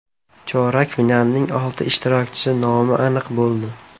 Chorak finalning olti ishtirokchisi nomi aniq bo‘ldi.